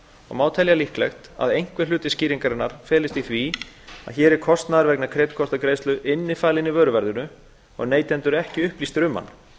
og má telja líklegt að einhver hluti skýringarinnar felist í því að hér er kostnaður vegna kreditkortagreiðslu innifalinn í vöruverðinu og neytendur ekki upplýstir um hann